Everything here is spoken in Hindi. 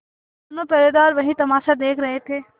दोनों पहरेदार वही तमाशा देख रहे थे